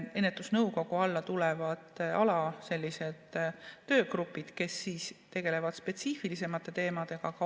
Ennetusnõukogu alla tulevad sellised alatöögrupid, kes tegelevad spetsiifilisemate teemadega.